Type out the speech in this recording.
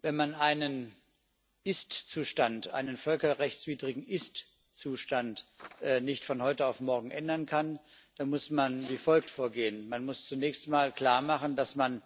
Wenn man einen völkerrechtswidrigen Ist Zustand nicht von heute auf morgen ändern kann, muss man wie folgt vorgehen Man muss zunächst mal klarmachen, dass man